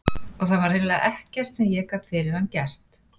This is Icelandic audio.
Og það var hreinlega ekkert sem ég gat fyrir hann gert.